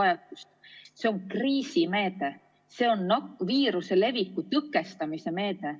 See on kriisimeede, see on viiruse leviku tõkestamise meede.